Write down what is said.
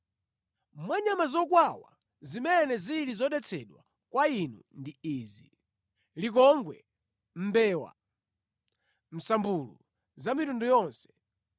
“ ‘Mwa nyama zokwawa, zimene zili zodetsedwa kwa inu ndi izi: likongwe, mbewa, msambulu za mitundu yonse,